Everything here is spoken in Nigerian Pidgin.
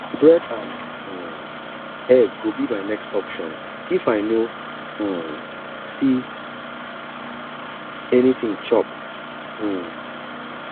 bread and um egg go be my next option if i no um see anything chop um